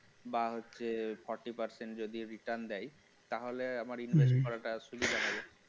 বা হচ্ছে forty percent যদি return দেয় তাহলে আমার invest করাটা সুবিধা হবে